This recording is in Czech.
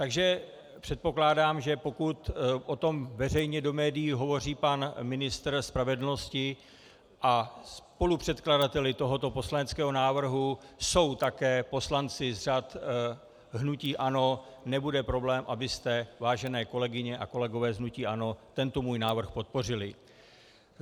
Takže předpokládám, že pokud o tom veřejně do médií hovoří pan ministr spravedlnosti a spolupředkladateli tohoto poslaneckého návrhu jsou také poslanci z řad hnutí ANO, nebude problém, abyste, vážené kolegyně a kolegové z hnutí ANO, tento můj návrh podpořili.